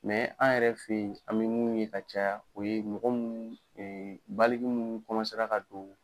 an yɛrɛ fɛ ye an bɛ mun ye ka caya o ye mɔgɔ mun baaliku mun ka don.